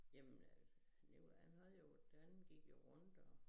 Jamen øh Nikolaj han havde jo han gik jo runder